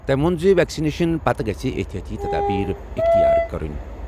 تٔمۍ ووٚن زِ ویکسِنیشن پتہٕ گژھِ احتیاطی تدابیر اختیار کرٕنۍ ضروٗری۔